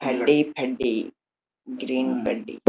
బండి బండి గ్రీన్ బండి.